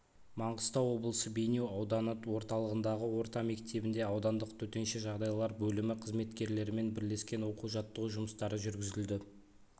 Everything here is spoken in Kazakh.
маңғыстау облысы бейнеу ауданы орталығындағы орта мектебінде аудандық төтенше жағдайлар бөлімі қызметкерлерімен бірлескен оқу-жаттығу жұмыстары жүргізілді